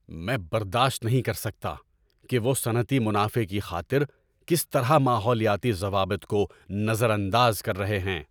میں برداشت نہیں کر سکتا کہ وہ صنعتی منافع کی خاطر کس طرح ماحولیاتی ضوابط کو نظر انداز کر رہے ہیں۔